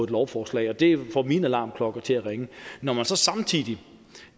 lovforslag og det får mine alarmklokker til at ringe når man så samtidig